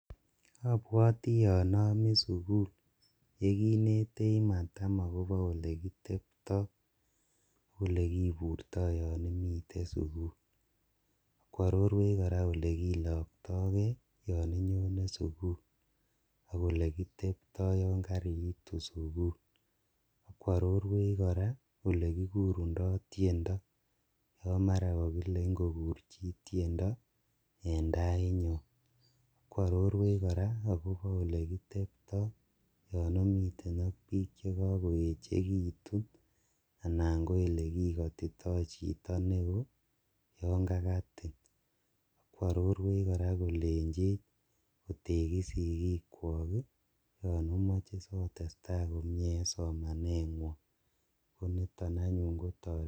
Obwotii anomii sukul yekinetech matam akobo olekitebtoo olekiburto yoon imiten sukul ak kwororwech kora olekilokto kee yon inyonee sukul ak olekitebtoo yoon kariitu sukul ak kwororwech kora elekikurundo tiendo, akoo mara kokile kokur chii tiendo en tainyon, ak kwororwech kora akobo olekitebtoo yoon omiten ak biik chekokoyechekitun anan ko elekikotitoo chito newoo yoon kakatin, ak kwororwech kora kolenchech otekis sikikwok yoon omoche sotestaa komnyee en somaneng'wong ako niton kotoretin.